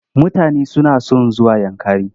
Mutane suna son zuwa Yankari.